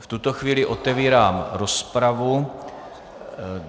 V tuto chvíli otevírám rozpravu.